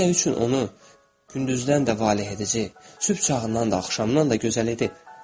Onda nə üçün onu gündüzdən də valeh edəcək, sübh çağından da, axşamdan da gözəl edib?